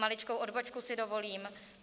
Maličkou odbočku si dovolím.